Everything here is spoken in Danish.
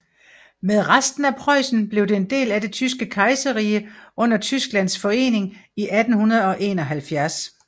Med resten af Preussen blev det en del af det Tyske Kejserrige under Tysklands forening i 1871